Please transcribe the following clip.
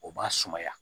O b'a sumaya